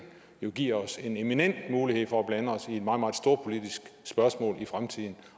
giver os en eminent mulighed for at blande os i et meget meget storpolitisk spørgsmål i fremtiden